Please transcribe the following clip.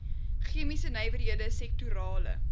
chemiese nywerhede sektorale